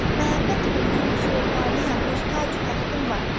"Məhəbbət mülkünün sultanıyam, öz tacü təxtim var!"